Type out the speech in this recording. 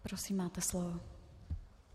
Prosím, máte slovo.